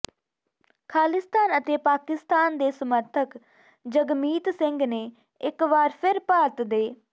ਖਾਲਿਸਤਾਨ ਅਤੇ ਪਾਕਿਸਤਾਨ ਦੇ ਸਮਰਥਕ ਜਗਮੀਤ ਸਿੰਘ ਨੇ ਇੱਕ ਵਾਰ ਫਿਰ ਭਾਰਤ ਦੇ